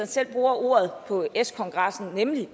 selv bruger ordet på s kongressen nemlig